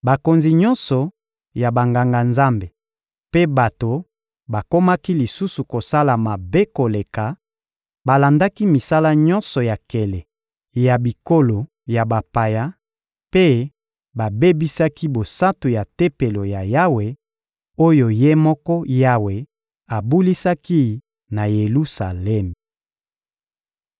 Bakonzi nyonso ya Banganga-Nzambe mpe bato bakomaki lisusu kosala mabe koleka, balandaki misala nyonso ya nkele ya bikolo ya bapaya mpe babebisaki bosantu ya Tempelo ya Yawe oyo Ye moko Yawe abulisaki na Yelusalemi.